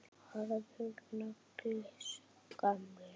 Harður nagli, sá gamli.